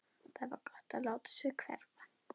Það var gott að láta sig hverfa.